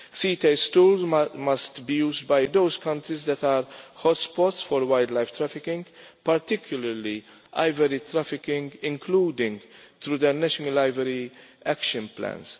CITES tools must be used by those countries that are hot spots for wildlife trafficking, particularly ivory trafficking, including through the National Ivory Action Plans.